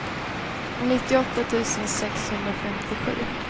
nittioåtta tusen sexhundrafemtiosju